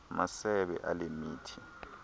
masebe ale mithi